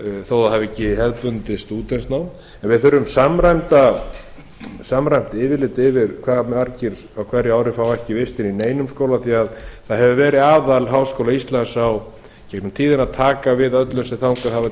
þó það hafi ekki hefðbundið stúdentsnám við þurfum samræmt yfirlit yfir hve margir á hverju ári fá ekki vistir í neinum skóla því það hefur verið aðall háskóla íslands í gegnum tíðina að taka við öllum sem þangað hafa